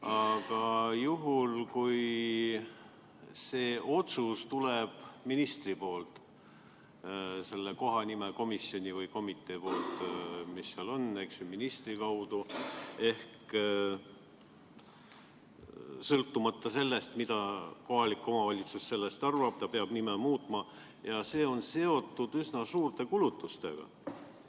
Aga juhul, kui see otsus tuleb ministrilt, kohanimekomisjonilt või -komiteelt ministri kaudu, siis sõltumata sellest, mida kohalik omavalitsus arvab, peab ta nime muutma ja see on seotud üsna suurte kulutustega.